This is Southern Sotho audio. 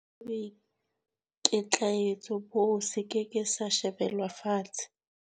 Sefutho sa boikitlaetso boo se ke ke sa shebelwa fatshe.